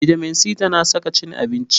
Bitamin c ta na saka cin abinci.